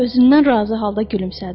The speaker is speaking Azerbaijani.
Özündən razı halda gülümsədi.